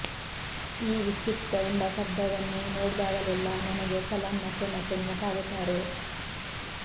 ಈ ವಿಕ್ಷಿಪ್ತ ಎಂಬ ಶಬ್ಧವನ್ನು ನೋಡಿದಾಗಲೆಲ್ಲ ನನಗೆ ಚಲಂ ಮತ್ತೆ ಮತ್ತೆ ನೆನಪಾಗುತ್ತಾರೆ